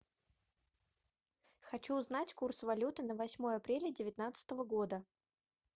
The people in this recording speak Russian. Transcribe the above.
хочу узнать курс валюты на восьмое апреля девятнадцатого года